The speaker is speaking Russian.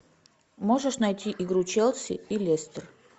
можешь найти игру челси и лестер